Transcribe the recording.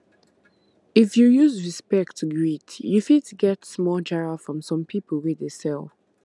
if you use respect greet you fit get small jara from some people wey dey sell